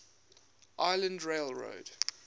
island rail road